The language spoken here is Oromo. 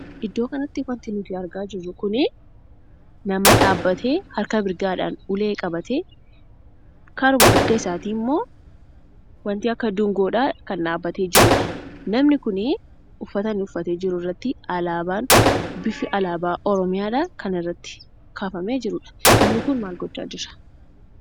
Iddoo kanatti wanti nuti argaa jirru kuni nama dhaabbatee harka mirgaadhaan ulee qabatee karuma mirgasaa isaatii ammoo, wanti akka duungoodhaa kan dhaabbatee jirudha. Namni kun uffata inni uffatee jiru irratti alaabaan bifi alaabaa Oromiyaadhaa kan irraatti kaafamee jirudha. Namni kun maal gochaa jira?